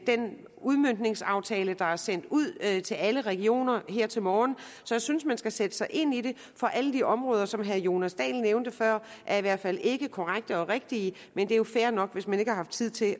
den udmøntningsaftale der er sendt ud til alle regioner her til morgen jeg synes man skal sætte sig ind i det for alt områder som herre jonas dahl nævnte før er i hvert fald ikke korrekt og rigtigt men det er jo fair nok hvis man ikke har haft tid til